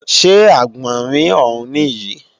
Ṣé Àgbọ̀nrín ọ̀ún nìyí?